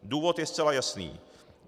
Důvod je zcela jasný.